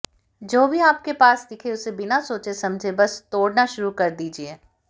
जो भी आप के पास दिखे उसे बिना सोचे समझे बस तोड़ना शुरू कर दीजिए